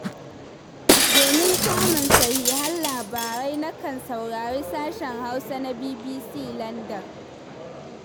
Domin samun sahihan labarai, nakan saurari sashen Hausa na BBC Landan.